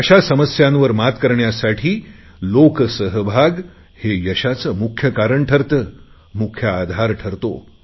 अशा समस्यांवर मात करण्यासाठी लोकसहभाग हे यशाचे मुख्य कारण ठरते मुख्य आधार ठरतो